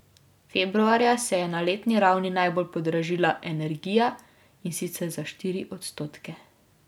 Februarja se je na letni ravni najbolj podražila energija, in sicer za štiri odstotke.